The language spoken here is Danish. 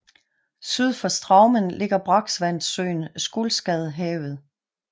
Syd for Straumen ligger brakvandssøen Skulstadhavet